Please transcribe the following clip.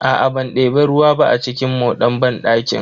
Aa ban debi ruwa ba a cikin moɗan banɗakin.